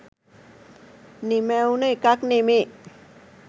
නිමැවුන එකක් නෙමේ.